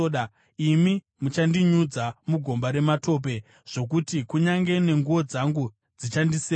imi muchandinyudza mugomba rematope zvokuti kunyange nenguo dzangu dzichandisema.